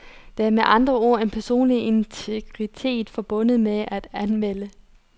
Der er med andre ord en personlig integritet forbundet med det at anmelde.